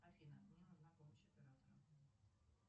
афина мне нужна помощь оператора